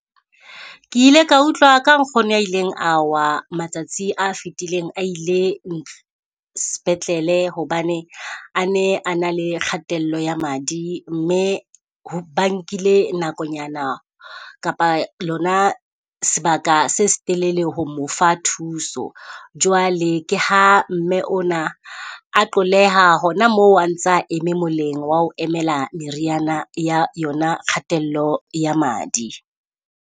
Ke ile ka utlwa ka nkgono ya ileng a wa matsatsi a fitileng a ile sepetlele hobane a ne a na le kgatello ya madi. Mme ho ba nkile nakonyana kapa lona sebaka se setelele ho mo fa thuso. Jwale ke ha mme ona a qoleha hona moo a ntsa eme moleng wa ho emela meriana ya yona kgatello ya madi.